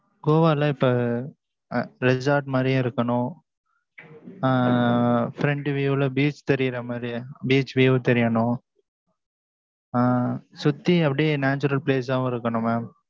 goa ல இப்ப, ah resort மாரியும் இருக்கனும். அஹ் front view ல beach தெரியற மாதிரி, beach view தெரியனும். அஹ் சுத்தி அப்படியே natural place ஆவும் இருக்கனும் mam